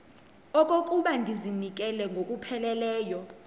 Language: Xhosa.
okokuba ndizinikele ngokupheleleyo